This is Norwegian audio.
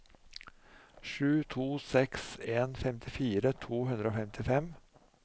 sju to seks en femtifire to hundre og femtifem